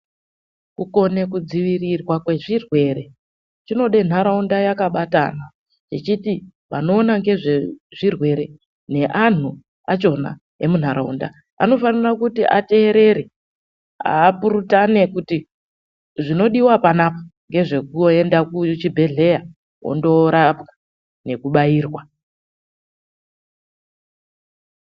Kukone kudzivirirwa kwezvirwere zvinoda nharaunda yakabatana, ichiti vanoona nezvezvirwere neanhu achona emunharaunda anofanira kuti ateerere. Apurutane kuti zvinodiwa panapa ngezvekuenda kuchibhedhleya wondoorapwa nekubayirwa.